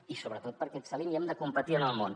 i sobretot perquè excel·lim i hem de competir en el món